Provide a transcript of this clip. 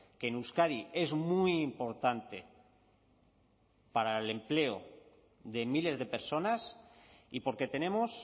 que en euskadi es muy importante para el empleo de miles de personas y porque tenemos